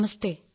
നമസ്തേ